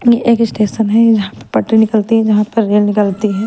ये एक इस्टेशन है जहाँ पे पटरी निकलती है जहाँ पर रेल निकलती है।